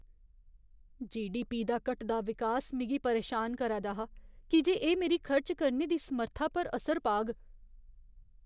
GDP दा घटदा विकास मिगी परेशान करै दा हा की जे एह् मेरी खर्च करने दी समर्था पर असर पाग।